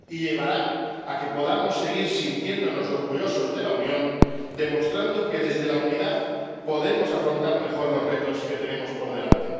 Y llevará a que podamos seguir sintiéndonos orgullosos de la Unión, demostrando que desde la unidad podemos afrontar mejor los retos que tenemos por delante.